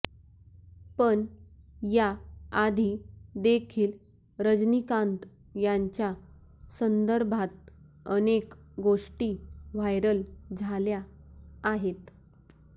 पण या आधी देखील रजनीकांत यांच्या संदर्भात अनेक गोष्टी व्हायरल झाल्या आहेत